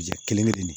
Ja kelen kelen de